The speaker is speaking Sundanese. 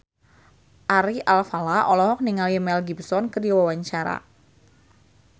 Ari Alfalah olohok ningali Mel Gibson keur diwawancara